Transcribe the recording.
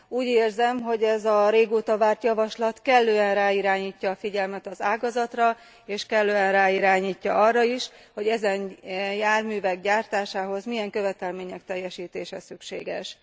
Úgy érzem, hogy ez a régóta várt javaslat kellően ráirányítja a figyelmet az ágazatra, és kellően ráirányítja arra is, hogy ezen járművek gyártásához milyen követelmények teljesítése szükséges.